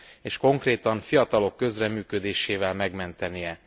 és konkrétan fiatalok közreműködésével megmentenie.